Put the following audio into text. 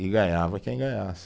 E ganhava quem ganhasse.